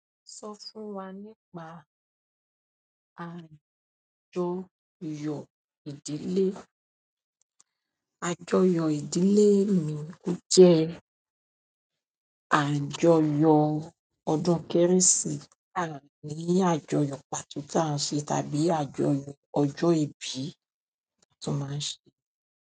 Sọ fún wa nípa àjọyọ̀ ìdílé. Àjọyọ̀ ìdílé mi o jẹ́ àjọyọ̀ ọdún kérésì, a ni àjọyọ̀ pàtó ti a n ṣe, tàbí àjọyọ̀ ọjọ ibi ti wọn ma ṣe.